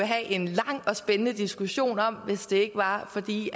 have en lang og spændende diskussion om hvis det ikke var fordi